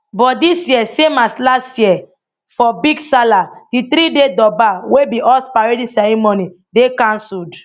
but dis year same as last year for big salah di threeday durbar wey be horse parading ceremony dey cancelled